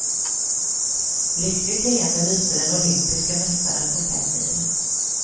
Lyckligt leende lyste den olympiske mästaren på fem mil.